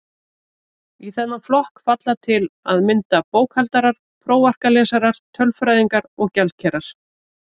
Í þennan flokk falla til að mynda bókhaldarar, prófarkalesarar, tölfræðingar og gjaldkerar.